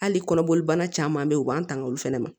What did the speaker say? Hali kɔnɔboli banna caman be yen u b'an tanga olu fɛnɛ ma